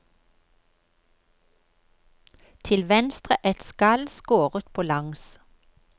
Til venstre et skall skåret på langs.